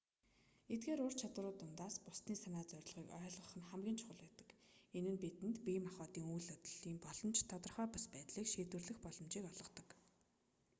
эдгээр ур чадваруудын дундаас бусдын санаа зорилгыг ойлгох нь хамгийн чухал байдаг энэ нь бидэнд бие махбодын үйл хөдлөлийн боломжит тодорхой бус байдлыг шийдвэрлэх боломжийг олгодог